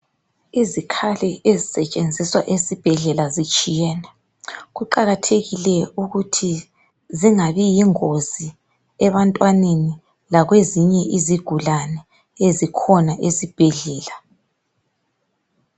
Izikhali ezisetshenziswa esibhedlela zitshiyene kuqakathekile ukuthi zingabi yingozi ebantwaneni lakwezinye izigulane ezikhona esibhedlela.